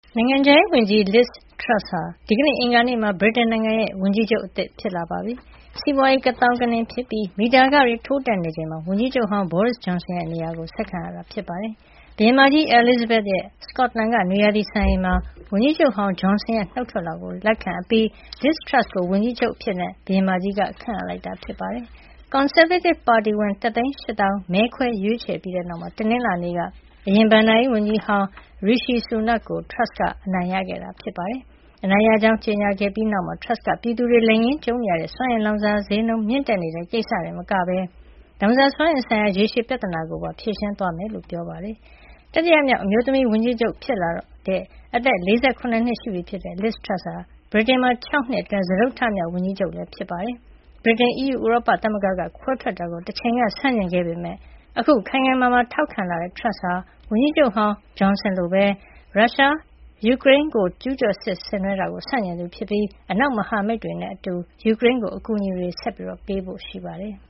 နိုင်ငံခြားရေးဝန်ကြီး Liz Truss ဟာ ဒီကနေ့ အင်္ဂါနေ့မှာ ဗြိတိန်နိုင်ငံရဲ့ဝန်ကြီးချုပ်သစ် ဖြစ်လာပါပြီ။ စီးပွါးရေး ကသောင်းကနင်းဖြစ်ပြီး မီတာခတွေ ထိုးတက်နေချိန်မှာ ဝန်ကြီးချုပ်ဟောင်း Boris Johson ရဲ့နေရာကို ဆက်ခံရတာ ဖြစ်ပါတယ်။ ဘုရင်မကြီး အဲလီဇဘက်ရဲ့ စကော့တလန်ကနွေရာသီစံအိမ်မှာ ဝန်ကြီးချုပ်ဟောင်း Johnson ရဲ့ နုတ်ထွက်လွှာကိုလက်ခံအပြီး Liz Truss ကို ဝန်ကြီးချုပ်အဖြစ် ဘုရင်မကြီးက ခန့်အပ်လိုက်တာ ဖြစ်ပါတယ်။ ကွန်ဆာဗေးတစ်ပါတီဝင် ၁၈၀,၀၀o က မဲခွဲရွေးချယ်ပြီးတဲ့နောက် တနင်္လာနေ့က အရင်ဘဏ္ဍာရေးဝန်ကြီးဟောင်း Rishi Sunak ကို Truss က အနိုင်ရခဲ့တာဖြစ်ပါတယ်။ သူအနိုင်ရကြောင်း ကြေညာခဲ့ပြီးတဲ့နောက်မှာ Truss က ပြည်သူတွေ လက်ငင်းကြုံနေရတဲ့ စွမ်းအင်လောင်စာဈေးနှုန်းမြင့်တက်နေတဲ့ ကိစ္စတင်မကဘဲ လောင်စာစွမ်းအင်ဆိုင်ရာ ရေရှည်ပြဿနာကိုပါ ဖြေရှင်းသွားမှာ ဖြစ်ကြောင်း ကတိပေးခဲ့ပါတယ်။ တတိယမြောက် အမျိုးသမီးဝန်ကြီးချုပ်ဖြစ်လာတော့မယ့် အသက် ၄၇ နှစ်အရွယ် Liz Truss ဟာ ဗြိတိန်မှာ ၆ နှစ်အတွင်း စတုတ္ထမြောက်ဝန်ကြီးချုပ်လည်း ဖြစ်ပါတယ်။ ဗြိတိန် အီးယူဥရောပသမဂ္ဂက ခွဲထွက်တာကို တချိန်ကဆန့်ကျင်ခဲ့ပေမယ့် အခုခိုင်ခိုင်မာမာ ထောက်ခံလာတဲ့ Turss ဟာ ဝန်ကြီးချုပ်ဟောင်း Johnson လိုပဲ ရုရှားရဲ့ ၆ လ ကြာလာပြီဖြစ်တဲ့ ယူကရိန်းကျူးကျော်စစ်ကို ဆန့်ကျင်သူဖြစ်ပြီး အနောက်မဟာမိတ်တွေနဲ့အတူ ယူကရိန်းကို အကူအညီတွေ ဆက်ပေးဖို့ ရှိပါတယ်